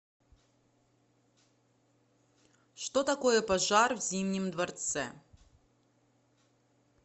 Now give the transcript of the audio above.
что такое пожар в зимнем дворце